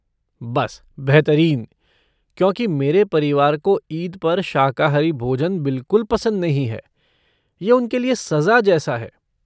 बस बेहतरीन, क्योंकि मेरे परिवार को ईद पर शाकाहारी भोजन बिलकुल पसंद नहीं है, ये उनके लिए सज़ा जैसा है।